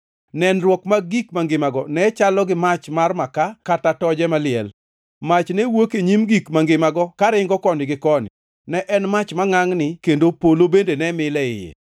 Nenruok mag gik mangimago ne chalo gi mach mar makaa kata toje maliel. Mach ne wuok e nyim gik mangimago karingo koni gi koni, ne en mach mangʼangʼni kendo polo bende ne mil e iye.